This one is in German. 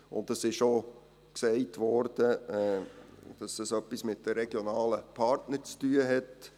Es wurde auch gesagt, das habe etwas mit den regionalen Partnern zu tun.